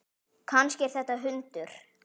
Kannski er þetta hundur?